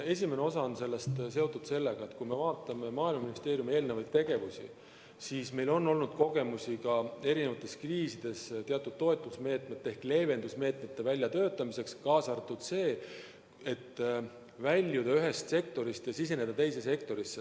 Esimene osa on seotud sellega, et kui me vaatame Maaeluministeeriumi varasemaid tegevusi, siis meil on kogemusi erinevates kriisides teatud toetusmeetmete ehk leevendusmeetmete väljatöötamiseks, kaasa arvatud see, et väljuda ühest sektorist ja siseneda teise sektorisse.